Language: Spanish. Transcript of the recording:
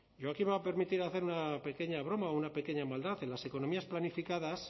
yo aquí me voy a permitir hacer una pequeña broma o una pequeña maldad en las economías planificadas